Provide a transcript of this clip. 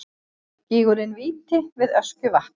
Gígurinn Víti við Öskjuvatn.